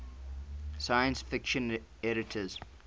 science fiction editors